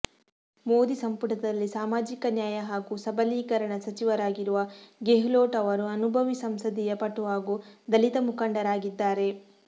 ಮೋದಿ ಸಂಪುಟದಲ್ಲಿ ಸಾಮಾಜಿಕ ನ್ಯಾಯ ಹಾಗೂ ಸಬಲೀಕರಣ ಸಚಿವರಾಗಿರುವ ಗೆಹ್ಲೋಟ್ ಅವರು ಅನುಭವಿ ಸಂಸದೀಯ ಪಟು ಹಾಗೂ ದಲಿತ ಮುಖಂಡರಾಗಿದ್ದಾರೆ